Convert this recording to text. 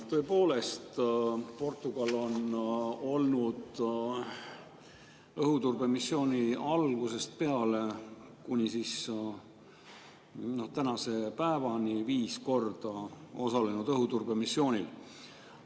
Tõepoolest, Portugal on õhuturbemissiooni algusest peale kuni tänase päevani viis korda osalenud õhuturbemissioonil.